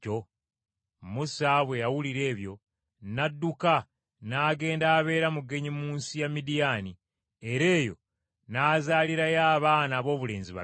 Musa bwe yawulira ebyo, n’adduka n’agenda abeera mugenyi mu nsi ya Midiyaani, era eyo n’azaalirayo abaana aboobulenzi babiri.